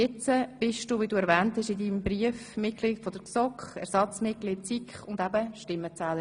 Jetzt bist du, wie du in deinem Brief erwähnt hast, Mitglieder der GSoK, Ersatzmitglied der SiK und eben Stimmenzählerin.